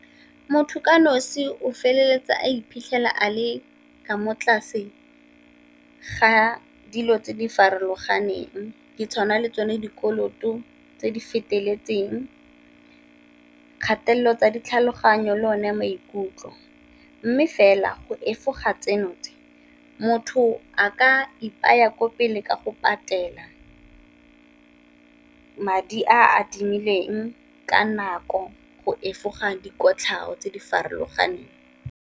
Motho ka nosi o feleletsa a iphitlhela a le ka mo tlase ga dilo tse di farologaneng, di tshwana le tsone dikoloto tse di feteletseng, kgatelelo tsa ditlhaloganyo le one maikutlo. Mme fela go efoga tseno tse motho a ka ipolaya ko pele ka go patela madi a adimileng ka nako go efoga dikotlhao tse di farologaneng.